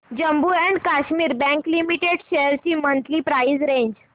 Jammu and Kashmir bank limited shares ची monthly price range